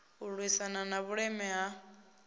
u lwisana na vhuleme ha